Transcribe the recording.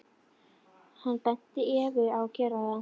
Hann benti Evu á að gera það.